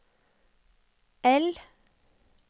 L